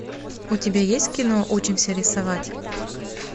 у тебя есть кино учимся рисовать